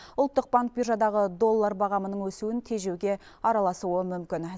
ұлттық банк биржадағы доллар бағамының өсуін тежеуге араласуы мүмкін